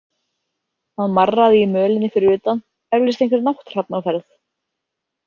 Það marraði í mölinni fyrir utan, eflaust einhver nátthrafn á ferð.